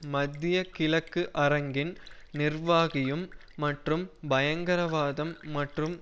மத்திய கிழக்கு அரங்கின் நிர்வாகியும் மற்றும் பயங்கரவாதம் மற்றும்